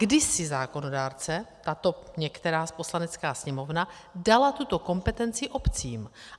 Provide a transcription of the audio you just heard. kdysi zákonodárce, tato některá Poslanecká sněmovna dala tuto kompetenci obcím.